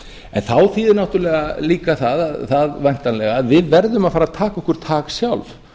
en þá þýðir það náttúrlega líka það væntanlega að við verðum að fara að taka okkur tak sjálf